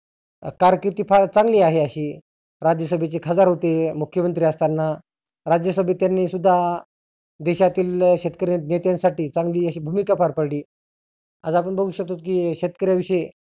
कारकिर्ती फार चांगली आहे आशी. राज्यसभेचे खासदार होते मुख्यमंत्री असताना. राज्यसभेत त्यांनी सुद्धा देशातील शेतकर्या नेत्यांसाठी चांगली आशी भुमिका पार पाडली. आज आपण बघु शकतोत की शेतकर्या विषयी